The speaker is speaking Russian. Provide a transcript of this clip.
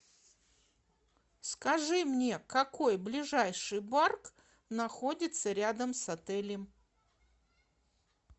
скажи мне какой ближайший бар находится рядом с отелем